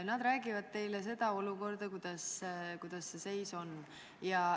Nad räägivad teile olukorrast, kuidas see seis on.